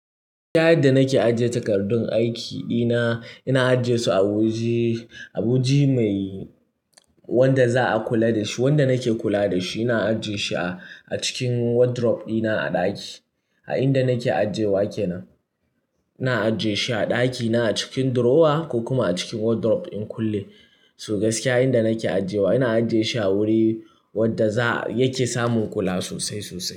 Gaskiya yadda nake ajiye takardun aiki ɗina, ina ajiye su a waje, a waje wanda za a kula da shi, wanda nake kula da shi. Ina ajiye shi a acikin wardrobe dina a ɗaki. A inda nake ajiyewa kenan. Ina ajiye shi a ɗakina a cikin drawer ko kuma a cikin wardrobe in kulle. So gaskiya inda nake ajiyewa ina ajiye shi a wuri wadda yake samun kula sosai sosai.